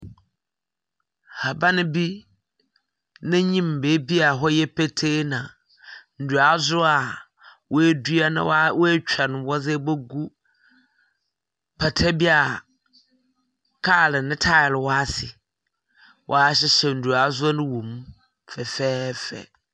Haban bi n’enyim beebi a hɔ yɛ petee na nduadzewa woedua na wɔa woetwa no, wɔdze ebogu pata bi a kaar ne taae wɔ ase, wɔahyehyɛ nduadzewa no wɔ mu fɛfɛɛfɛ.